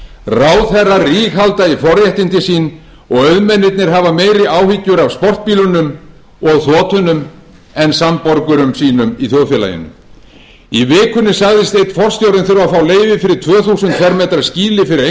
ráðherrar ríghalda í forréttindi sín og auðmennirnir hafa meiri áhyggjur af sportbílunum og þotunum en samborgurum sínum í þjóðfélaginu í vikunni sagðist einn forstjórinn þurfa að fá leyfi fyrir tvö þúsund fermetra skýli fyrir einkaþotur því að það